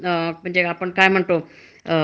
आता दुसरी एक क्षेत्र आहेत,